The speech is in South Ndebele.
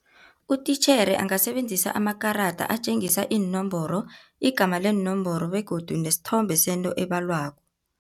Utitjhere angasebenzisa amakarada atjengisa iinomboro, igama leenomboro begodu nesithombe sento ebalwako.